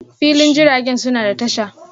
filin jiragen suna da tasha.